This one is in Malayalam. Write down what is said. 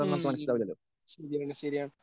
ഉം ശരിയാണ് ശരിയാണ്.